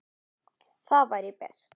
Það væri best.